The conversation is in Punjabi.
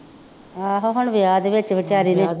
ਆਹੋ ਹੁਣ ਵਿਆਹ ਦੇ ਵਿੱਚ ਵਿਚਾਲੇ ਜਿਹੇ